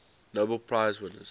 nobel prize winners